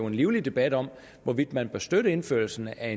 en livlig debat om hvorvidt man bør støtte indførelsen af